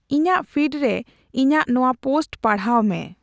ᱤᱧᱟᱹᱜ ᱯᱷᱤᱰ ᱨᱮ ᱤᱧᱟᱹᱜ ᱱᱚᱣᱟ ᱯᱳᱥᱴ ᱯᱟᱲᱦᱟᱣ ᱢᱮ᱾